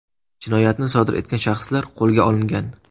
Jinoyatni sodir etgan shaxslar qo‘lga olingan.